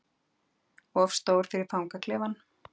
Of stór fyrir fangaklefann